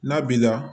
N'a b'i la